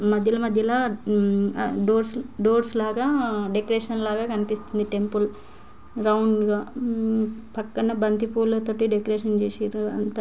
మధ్యల మధ్యల ఉమ్మ్ ఆ డోర్స్ - డోర్స్ లాగ డెకరేషణ్ లాగ కనిపిస్తుంది టెంపుల్ రౌండ్ గ ఉమ్ పక్కన బంతి పూల తోటి డెకరేషన్ చేసిర్రు అంతా--